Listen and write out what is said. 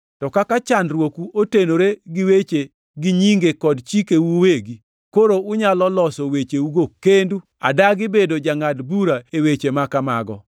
To kaka chandruoku otenore gi weche gi nyinge kod chikeu uwegi, koro unyalo loso wecheugo kendu. Adagi bedo jangʼad bura e weche ma kamago.”